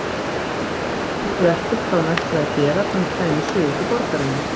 Samt vissi Ragnhildur ekkert hvað hún ætlaði að gera þegar hún kæmi suður til borgarinnar.